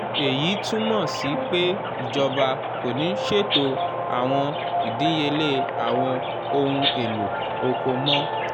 eyi tumọ si pe ijọba ko ni ṣeto awọn idiyele awọn ohun elo oko mọ.